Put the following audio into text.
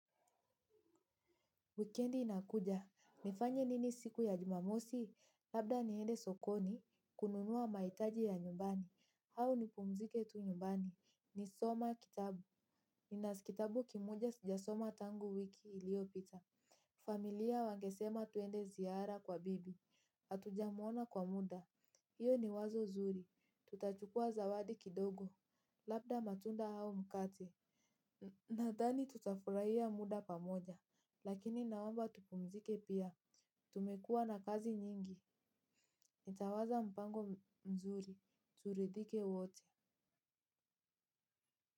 Wikendi inakuja, nifanye nini siku ya jumamosi, labda niende sokoni, kununua mahitaji ya nyumbani, au nipumzike tu nyumbani, nisome kitabu, nina kitabu kimoja sijasoma tangu wiki iliopita. Familia wangesema tuende ziara kwa bibi, hatujamwona kwa muda, iyo ni wazo zuri, tutachukua zawadi kidogo, labda matunda au mkate. Nadhani tutafurahia muda pamoja, lakini naomba tupumzike pia. Tumekuwa na kazi nyingi, nitawaza mpango mzuri, turidhike wote.